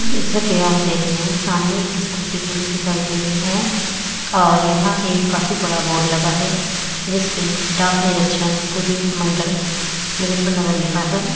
जैसा कि आप देख रहे हैं सामने एक स्कूटी खड़ी दिखाई दे रही है और यहाँ एक काफी बड़ा बोर्ड लगा है जिस पे डाक निरक्षण पूर्वी मण्डल मुजफ्फर नगर लिखा है।